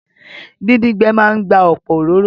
Díndín gbẹ máa n gba ọ̀pọ̀ òróró